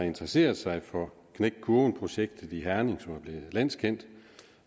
interesseret sig for knæk kurven projektet i herning som er blevet landskendt og